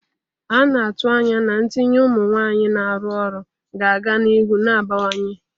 A na-atụ anya na ntinye ụmụ nwanyị na-arụ ọrụ ga-aga n'ihu na-abawanye.